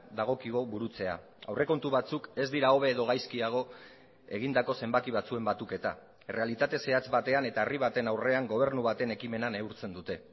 dagokigu burutzea aurrekontu batzuk ez dira hobe edo gaizkiago egindako zenbaki batzuen batuketa errealitate zehatz batean eta herri baten aurrean gobernu baten ekimena neurtzen dute